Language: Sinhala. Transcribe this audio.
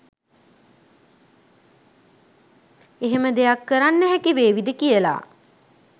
එහෙම දෙයක් කරන්න හැකිවේවිද කියාලා